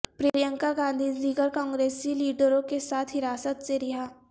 پرینکا گاندھی دیگرکانگریسی لیڈروں کے ساتھ حراست سے رہا